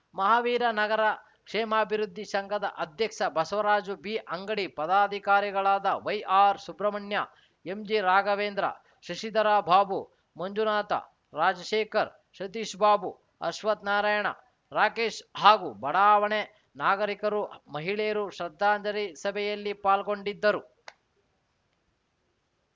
ಮಹಾವೀರ ನಗರ ಕ್ಷೇಮಾಭಿವೃದ್ಧಿ ಸಂಘದ ಅಧ್ಯಕ್ಷ ಬಸವರಾಜು ಬಿಅಂಗಡಿ ಪದಾಧಿಕಾರಿಗಳಾದ ವೈಆರ್‌ಸುಬ್ರಹ್ಮಣ್ಯ ಎಂಜಿರಾಘವೇಂದ್ರ ಶಶಿಧರ ಬಾಬು ಮಂಜುನಾಥ ರಾಜಶೇಖರ್‌ ಸತೀಶಬಾಬು ಅಶ್ವತ್‌ ನಾರಾಯಣ ರಾಕೇಶ್‌ ಹಾಗೂ ಬಡಾವಣೆ ನಾಗರಿಕರು ಮಹಿಳೆಯರು ಶ್ರದ್ಧಾಂಜಲಿ ಸಭೆಯಲ್ಲಿ ಪಾಲ್ಗೊಂಡಿದ್ದರು